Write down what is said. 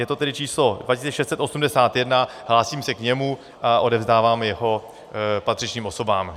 Je to tedy číslo 2681, hlásím se k němu a odevzdávám ho patřičným osobám.